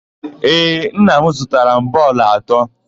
Ee, nna m zụtara m bọọlụ atọ.